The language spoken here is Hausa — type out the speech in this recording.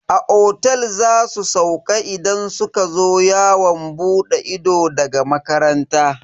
A otel za su sauka idan suka zo yawon bude ido daga makaranta.